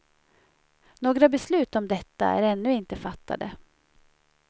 Några beslut om detta är ännu inte fattade.